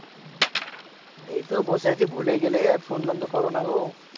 এই তো বসে আছি ভুলে গেলে আর ফোন টোন তো করো না গো